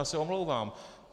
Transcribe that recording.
Já se omlouvám.